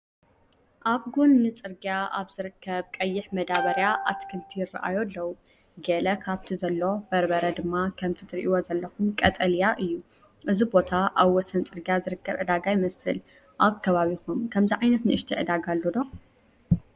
ኣብ ጎኒ ጽርግያ ኣብ ዝርከብ ቀይሕ መዳበርያ ኣትክልቲ ይራኣዩ ኣለው። ገለ ካብቲ ዘሎ፡ በርበረ ድማ ከምቲ ትርእይዎ ዘለኹም ቀጠልያ እዩ። እዚ ቦታ ኣብ ወሰን ጽርግያ ዝርከብ ዕዳጋ ይመስል። ኣብ ከባቢኩም ከምዚ ዓይነት ንእሽተይ ዕዳጋ ኣሎ ዶ?